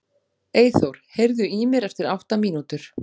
Eyþór, heyrðu í mér eftir átta mínútur.